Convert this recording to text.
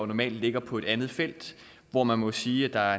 normalt ligger på et andet felt hvor man må sige at der